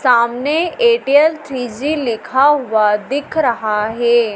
सामने इटियल three G लिखा हुआ दिख रहा है।